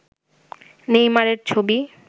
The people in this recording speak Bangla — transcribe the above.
নেইমারের ছবি